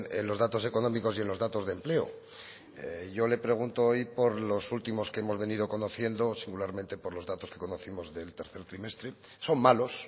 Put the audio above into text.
en los datos económicos y en los datos de empleo yo le pregunto hoy por los últimos que hemos venido conociendo singularmente por los datos que conocimos del tercer trimestre son malos